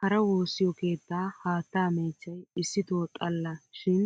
Hara woossiyo keettaa haattaa meechchay issito xalla shin